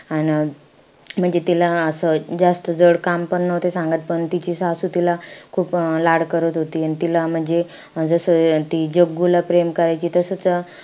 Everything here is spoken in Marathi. अं म्हणजे तिला असं जास्त जड काम पण नव्हते सांगत. पण तिची सासू तिला खूप लाड करत होती. तिला म्हणजे जसं जग्गूला प्रेम करायची तसंच,